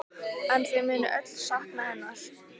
En þau munu öll sakna hennar.